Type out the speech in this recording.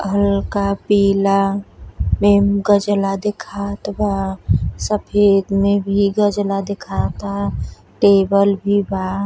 हल्का पीला में गजला देखात बा। सफ़ेद में भी गजला देखाता। टेबल भी बा।